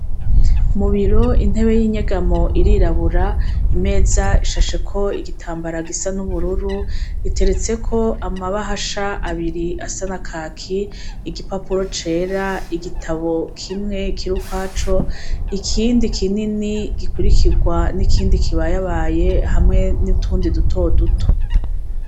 Mubiro intebe y'inyegamo irirabura imeza ishasheko igitambara gisa n'ubururu riteretseko amabahasha abiri asanakaki igipapuro cera igitabo kimwe kira ukwaco ikindi kinini gikurikirwa n'ikindi kibayabaye hamwe nitundi dutoduto.